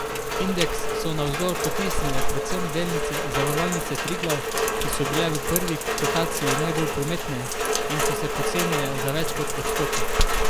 Indeks so navzdol potisnile predvsem delnice Zavarovalnice Triglav, ki so bile v prvi kotaciji najbolj prometne in so se pocenile za več kot odstotek.